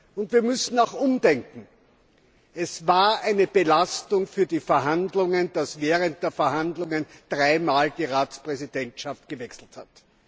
Und wir müssen auch umdenken. Es war eine Belastung für die Verhandlungen, dass während der Verhandlungen dreimal die Ratspräsidentschaft gewechselt hat.